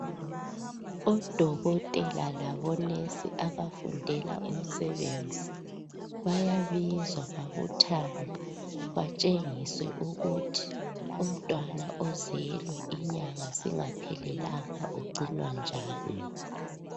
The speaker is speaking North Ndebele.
Odokotela labo "nurse" abafundela umsebenzi bayabizwa babuthane batshengiswe ukuthi umntwana ozelwe inyanga zingaphelelanga ugcinwa njani.